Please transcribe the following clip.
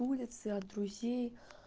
улицы от друзей